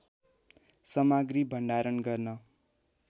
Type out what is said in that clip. सामग्री भन्डारण गर्न